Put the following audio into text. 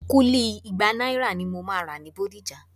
Kúlí igba náírà ni mo máa rà ní Bódìjà